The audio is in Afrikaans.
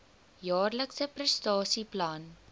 jaarlikse prestasie plan